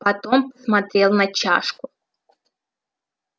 потом посмотрел на чашку